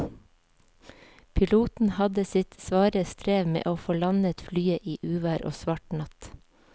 Piloten hadde sitt svare strev med å få landet flyet i uvær og svart natt.